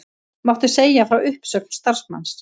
Mátti segja frá uppsögn starfsmanns